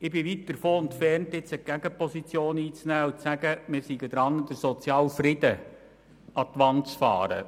Ich bin weit davon entfernt, jetzt die Gegenposition zu beziehen und zu sagen, wir seien daran, den sozialen Frieden an die Wand zu fahren.